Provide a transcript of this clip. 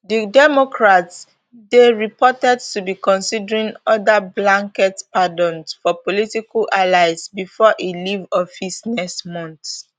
di democrat dey reported to be considering oda blanket pardons for political allies before e leave office next month